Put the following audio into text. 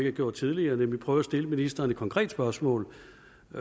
er gjort tidligere nemlig prøve at stille ministeren et konkret spørgsmål